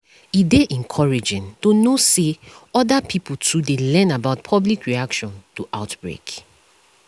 e dey encouraging to know say other pipo too dey learn about public reaction to outbreak